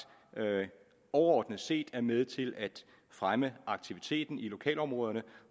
overordnet set er med til at fremme aktiviteten i lokalområderne